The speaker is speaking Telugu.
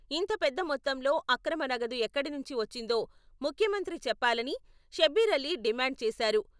ఇంతపెద్ద మొత్తంలో అక్రమ నగదు ఎక్కడినుంచి వచ్చిందో ముఖ్యమంత్రి చెప్పాలని షబ్బీర్ అలీ డిమాండ్ చేశారు.